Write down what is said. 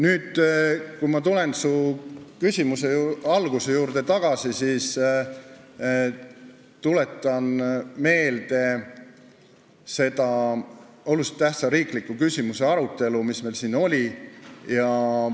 Nüüd, kui ma tulen su küsimuse alguse juurde, siis tuletan meelde seda olulise tähtsusega riikliku küsimuse arutelu, mis meil siin oli.